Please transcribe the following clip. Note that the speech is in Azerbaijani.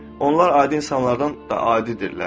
Onlar adi insanlardan da adidirlər.